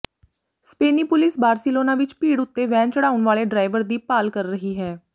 ਸਪੇਨੀ police Barcelona ਵਿੱਚ ਭੀੜ ਉਤੇ ਵੈਨ ਚੜ੍ਹਾਉਣ ਵਾਲੇ ਡਰਾਈਵਰ ਦੀ ਭਾਲ ਕਰ ਰਹੀ ਹੈ